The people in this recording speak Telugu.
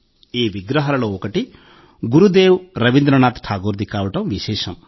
ఈ విగ్రహాలలో ఒకటి గురుదేవ్ రవీంద్రనాథ్ ఠాగూర్ ది కావడం విశేషం